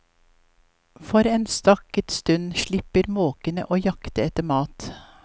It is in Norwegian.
For en stakket stund slipper måkene å jakte etter mat.